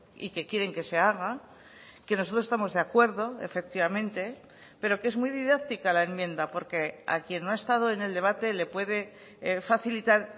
y que quieren que se haga que nosotros estamos de acuerdo efectivamente pero que es muy didáctica la enmienda porque a quien no ha estado en el debate le puede facilitar